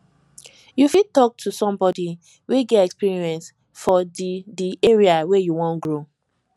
you fit talk to somebody wey get experience for di di area wey you wan grow